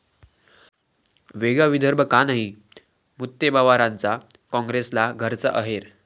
वेगळा विदर्भ का नाही?,मुत्तेमवारांचा काँग्रेसला घरचा अहेर